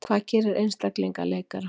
Hvað gerir einstakling að leikara?